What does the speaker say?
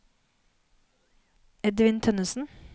Edvin Tønnessen